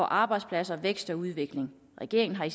arbejdspladser vækst og udvikling regeringen har